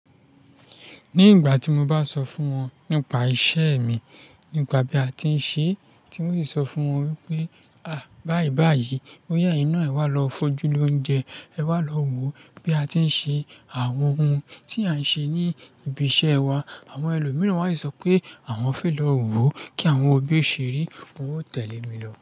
Ní ìgbà tí mo bá sọ fún wọn nípa isẹ mi, nípa bí a ti ń ṣe é, tí un sì sọ fún wọn wípé, à, báyìí báyìí, ó ya ẹyin náà ẹ wá lo fojú lóúnjẹ, ẹ wá lọ wò bí a ti ń ṣe àwọn ohun tí à ń ṣe ní ibi iṣẹ wa. Àwọn ẹlòmíràn wá sì sọ pé àwọn fẹ lọ wò kí àwọn wò bí o ṣe rí. N ó tẹ̀lé mi lọ.